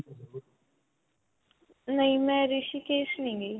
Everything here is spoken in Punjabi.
ਨਹੀਂ ਮੈਂ ਰਿਸ਼ੀਕੇਸ ਨਹੀਂ ਗਈ.